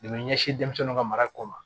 De be ɲɛsin denmisɛnw ka mara kɔ ma